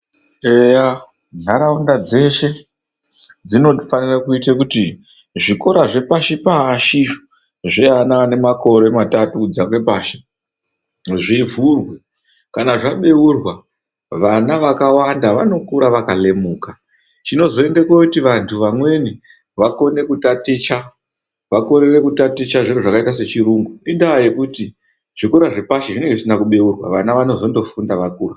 Eyaa ntharaunda dzeshe dzinofanire kuite kuti zvikore zvepashi pashi zveana ane makore matautu kudzake pashi zvivhurwe kana zvaboorwa vana vakawanda vanokura vakarumuka chinozoende koti vanthu vamweni vakone kutaticha vakorere kutaticha zviro zvakaita sechirungu indaa yekuti zvikora zvepashi zvinenge zvisina kuboorwa vana vanozondofunda vakura.